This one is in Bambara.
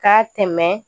K'a tɛmɛ